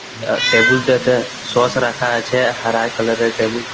আর table টাতে sauce রাখা আছে হারায় কালার - এর টেবুল ।